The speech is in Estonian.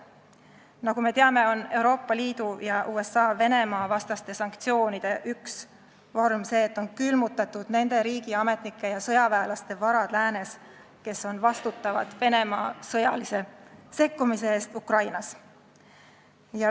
Nagu me teame, on Euroopa Liidu ja USA Venemaa-vastaste sanktsioonide üks vorme see, et on külmutatud nende riigiametnike ja sõjaväelaste varad läänes, kes on vastutavad Venemaa sõjalise sekkumise eest Ukrainas.